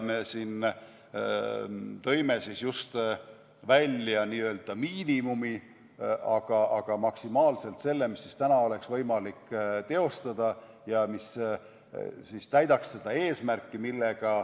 Me siin tõime just välja n-ö miinimumi, aga see on maksimaalselt see, mida täna oleks võimalik teostada ja mis täidaks seda eesmärki.